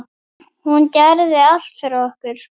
Hún gerði allt fyrir okkur.